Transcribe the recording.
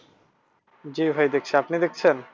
জি ভাই দেখছি, আপনি দেখছেন?